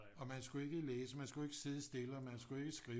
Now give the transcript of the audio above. Og man skulle ikke læse man skulle ikke sidde stille og man skulle ikke skrive